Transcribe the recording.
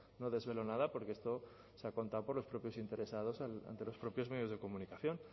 no desvelo nada porque esto se ha contado por los propios interesados ante los propios medios de comunicación